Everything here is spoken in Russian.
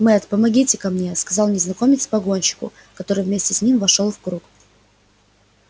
мэтт помогите-ка мне сказал незнакомец погонщику который вместе с ним вошёл в круг